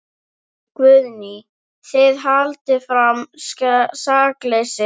Guðný: Þið haldið fram sakleysi ykkar?